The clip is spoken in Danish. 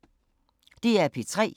DR P3